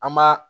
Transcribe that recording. An b'a